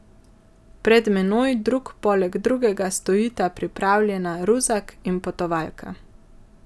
Pred menoj drug poleg drugega stojita pripravljena ruzak in potovalka.